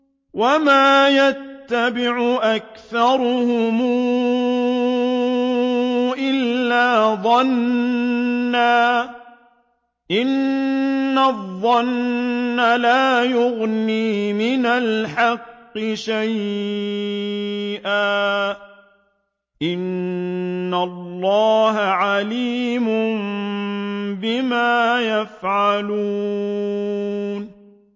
وَمَا يَتَّبِعُ أَكْثَرُهُمْ إِلَّا ظَنًّا ۚ إِنَّ الظَّنَّ لَا يُغْنِي مِنَ الْحَقِّ شَيْئًا ۚ إِنَّ اللَّهَ عَلِيمٌ بِمَا يَفْعَلُونَ